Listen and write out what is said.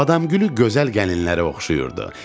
Badamgülü gözəl gəlinlərə oxşayırdı.